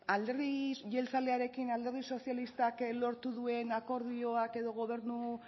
alderdi jeltzalearekin alderdi sozialistak lortu duen akordioak edo gobernu